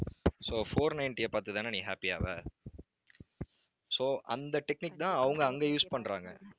so four ninety அ பாத்து தானே நீ happy ஆவ so அந்த technique தான் அவங்க அங்க use பண்றாங்க